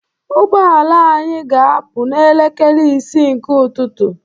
Ụgbọ ala anyị ga-apụ n'elekere isii nke ụtụtụ